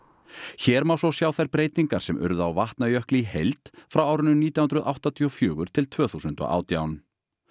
hér má svo sjá þær breytingar sem urðu á Vatnajökli í heild frá árinu nítján hundruð áttatíu og fjögur til tvö þúsund og átján